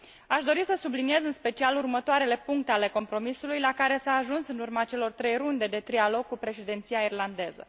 Aș dori să subliniez în special următoarele puncte ale compromisului, la care s a ajuns în urma celor trei runde de trilog cu președinția irlandeză.